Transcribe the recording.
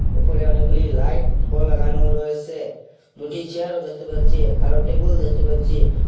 উপরে অনেকগুলি লাইট ও লাগানো রয়েসে দুটি চেয়ারও দেখতে পাচ্ছি আরও টেবিল দেখতে পাচ্ছি।